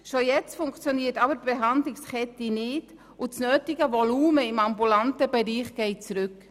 Schon heute funktioniert die Behandlungskette nicht, und das nötige Volumen im ambulanten Bereich geht zurück.